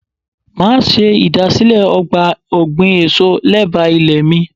Máa ṣe ìdásílẹ̀ ọgbà ọ̀gbìn èso lé báà ilé mi.